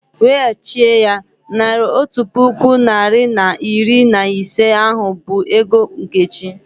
Wechie ya! Naira otu puku narị na iri na ise ahụ bụ ego Nkechi